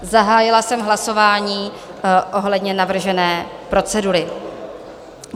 Zahájila jsem hlasování ohledně navržené procedury.